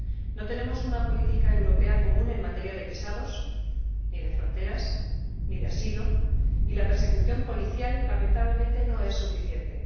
No tenemos una política europea común en materia de visados ni de fronteras ni de asilo y la persecución policial, lamentablemente, no es suficiente.